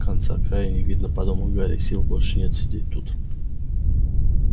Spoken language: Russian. конца-краю не видно подумал гарри сил больше нет сидеть тут